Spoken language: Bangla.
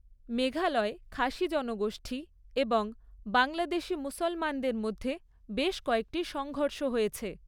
মেঘালয়ে খাসি জনগোষ্ঠী এবং বাংলাদেশি মুসলমানদের মধ্যে বেশ কয়েকটি সংঘর্ষ হয়েছে।